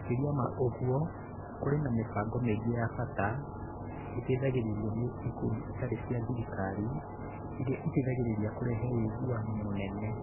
Makĩria ma ũguo, kũrĩ na mĩbango mĩingĩ ya bata ĩteithagĩrĩrio nĩ ikundi itarĩ cia thirikari ĩrĩa ĩteithagĩrĩria kũrehe ũiguano mũnene.